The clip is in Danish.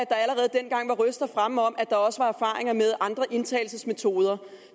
der allerede dengang var røster fremme om at der også var erfaringer med andre indtagelsesmetoder